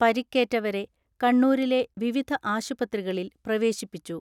പരിക്കേറ്റവരെ കണ്ണൂരിലെ വിവിധ ആശുപത്രികളിൽ പ്രവേശിപ്പിച്ചു.